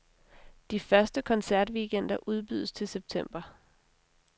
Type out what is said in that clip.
De første koncertweekender udbydes til september.